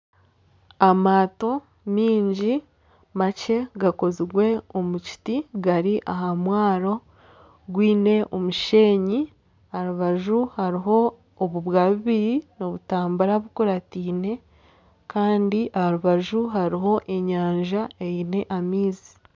Amaato maingi makye gakozirwe omu kiti gari aha mwaaro gwiine omusheenyi aharubaju hariho obubwa bubiri nibutambura bukurataine Kandi aharubaju hariho enyanja eine amaizi.